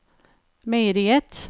meieriet